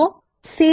এটিও খুব সহজ